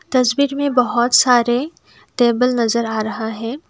तस्वीर में बहोत सारे टेबल नजर आ रहा है।